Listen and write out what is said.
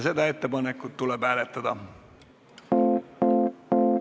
Seda ettepanekut tuleb hääletada.